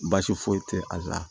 Baasi foyi tɛ a la